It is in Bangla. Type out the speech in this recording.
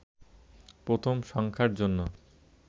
প্রথম সংখ্যার জন্য